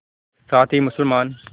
साथ ही मुसलमान